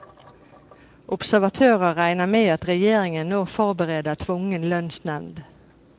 Observatører regner med at regjeringen nå forbereder tvungen lønnsnevnd.